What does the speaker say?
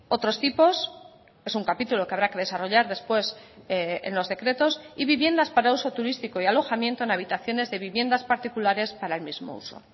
otros tipos es un capítulo que habrá que desarrollar después en los decretos y viviendas para uso turístico y alojamiento en habitaciones de viviendas particulares para el mismo uso